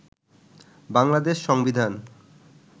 বাংলাদেশ সংবিধান